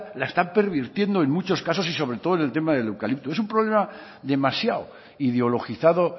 la está pervirtiendo en muchos casos y sobre todo en el tema del eucalipto es un problema demasiado ideologizado